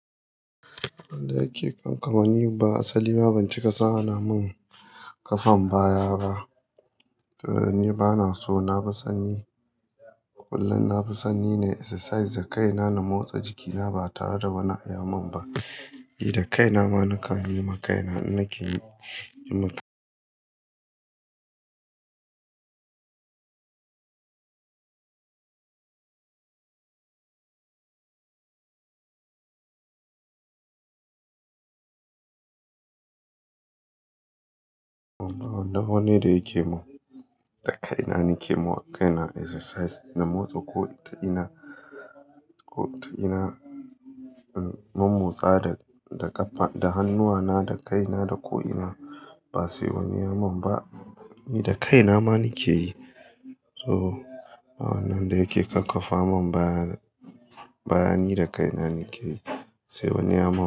Wanda yake ƙanƙama, ni ba asali ma ban ci kasa ana mun ƙafan baya ba. To ni bana so, na fi sanni, kullum na fi sanni nai exercise da kaina na motsa jikina ba tare da wani ai mun ba. Ni da kaina ma na kanyi ma kaina, ni nake yi. Ba wannan wani da yake mun, da kaina nake mawa kaina exercise na motsa ko ta ina, ko ta ina. In mo-motsa da, da ƙafa, da hannuwana, da kaina, da ko ina, ba sai wani ya mun ba. Ni da kaina ma nake yi. To, ba wannan da yake kakkafa mun baya, baya ni da kaina nake yi, sai wani ya mun.